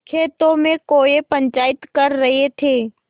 खेतों में कौए पंचायत कर रहे थे